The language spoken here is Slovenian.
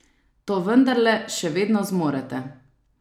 To vendarle še vedno zmorete!